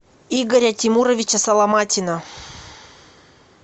игоря тимуровича соломатина